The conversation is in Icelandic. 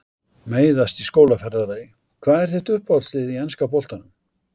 Meiðast í skólaferðalagi Hvað er þitt uppáhaldslið í enska boltanum?